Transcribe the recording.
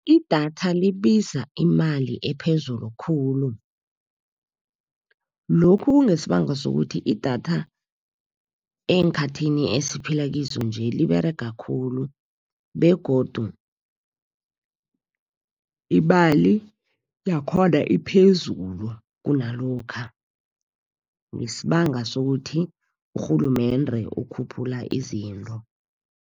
Idatha libiza imali ephezulu khulu. Lokhu kungesibanga sokuthi, idatha eenkhathini esiphila kizo nje liberega khulu begodu imali yakhona iphezulu kunalokha, ngesibanga sokuthi urhulumende ukhuphula izinto.